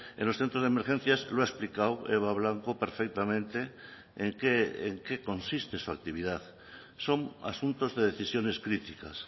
en los centros de emergencias lo ha explicado eva blanco perfectamente en qué consiste su actividad son asuntos de decisiones críticas